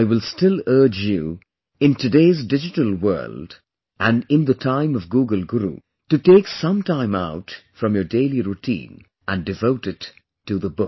I will still urge you in today's digital world and in the time of Google Guru, to take some time out from your daily routine and devote it to the book